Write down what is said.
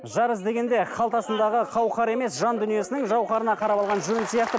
жар іздегенде қалтасындағы қауқар емес жан дүниесінің жауһарына қарап алған жөн сияқты